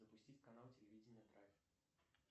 запустить канал телевидение драйв